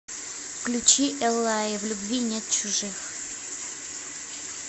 включи эллаи в любви нет чужих